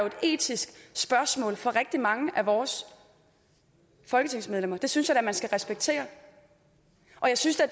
et etisk spørgsmål for rigtig mange af vores folketingsmedlemmer det synes jeg da man skal respektere og jeg synes da